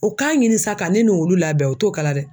O k'a ɲini sa ka ne n'olu labɛn o t'o kɛ la dɛ.